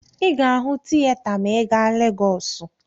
Ị ga-ahụ tiyeta maa ị gaa Legọọsụ.